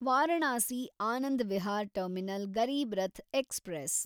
Varanasi Anand Vihar terminal Garib Rath express